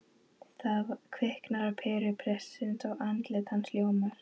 Það kviknar á peru prestsins og andlit hans ljómar